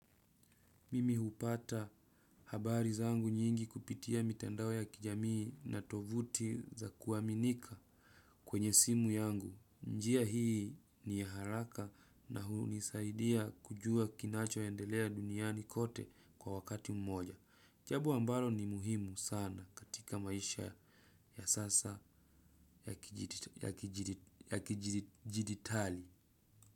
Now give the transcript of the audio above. Mimi hupata habari zangu nyingi kupitia mitandao ya kijamii na tovuti za kuaminika kwenye simu yangu. Njia hii ni haraka na hunisaidia kujua kinacho endelea duniani kote kwa wakati mmoja. Chabo ambalo ni muhimu sana katika maisha ya sasa ya kijiditali.